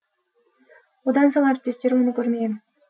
одан соң әріптестері оны көрмеген